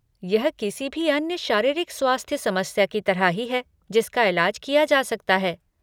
यह किसी भी अन्य शारीरिक स्वास्थ्य समस्या की तरह ही है जिसका इलाज किया जा सकता है।